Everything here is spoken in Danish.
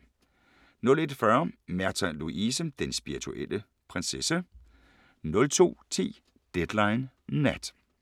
01:40: Märtha Louise – Den spirituelle prinsesse 02:10: Deadline Nat